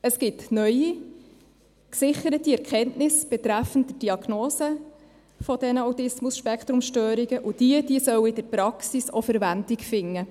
Es gibt neue gesicherte Erkenntnisse betreffend Diagnose dieser ASS, und diese sollen in der Praxis auch Verwendung finden.